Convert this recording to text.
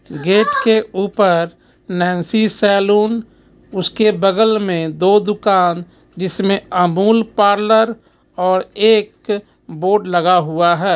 Gate के ऊपर Nancy saloon उसके बगल में दो दुकान जिसमें अमूल पार्लर और एक बोर्ड लगा हुआ है.